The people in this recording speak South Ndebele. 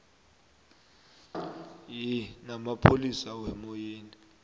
ye namapholisa wemmoyeni